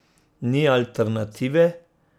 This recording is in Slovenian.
Ni alternative.